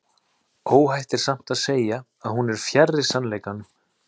Óhætt er samt að segja að hún er fjarri sannleikanum.